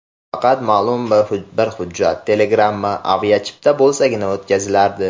Faqat ma’lum bir hujjat: telegramma, aviachipta bo‘lsagina o‘tkazilardi.